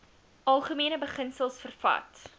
algemene beginsels vervat